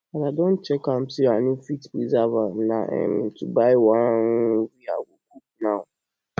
as i don check am say i no fit preserve am na um to buy one